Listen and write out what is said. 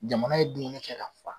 Jamana ye dunni kɛ ka fa.